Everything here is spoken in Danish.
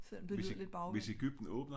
Selvom det lyder lidt bagvendt